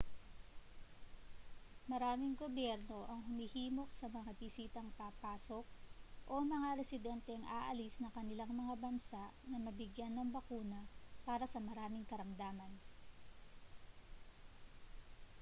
maraming gobyerno ang humihimok sa mga bisitang papasok o mga residenteng aalis ng kanilang mga bansa na mabigyan ng bakuna para sa maraming karamdaman